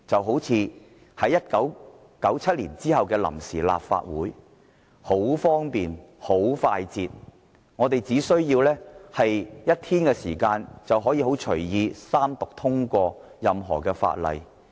好像1997年之後的臨時立法會，當時很方便、很快捷，只須1天時間就可以隨意三讀通過任何法案。